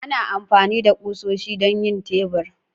Ana amfani da kusoshi don yin tebur.